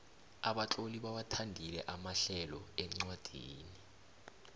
abatloli bawathandile amahlelo encwadfini